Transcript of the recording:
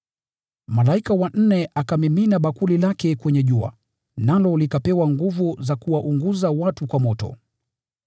Malaika wa nne akamimina bakuli lake kwenye jua, nalo likapewa nguvu za kuwaunguza watu kwa moto.